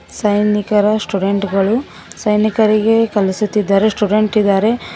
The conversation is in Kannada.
ಸೈನಿಕರ ಸ್ಟೂಡೆಂಟ್ ಗಳು ಸೈನಿಕರಿಗೆ ಕಲಿಸುತ್ತಿದ್ದಾರೆ ಸ್ಟುಡೆಂಟ್ ಇದಾರೆ.